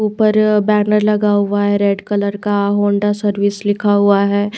ऊपर बैनर लगा हुआ है रेड कलर का होंडा सर्विस लिखा हुआ है।